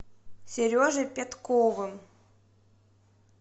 сережей пятковым